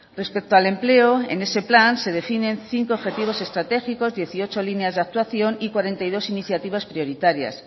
respecto al empleo en ese plan se definen cinco objetivos estratégicos dieciocho líneas de actuación y cuarenta y dos iniciativas prioritarias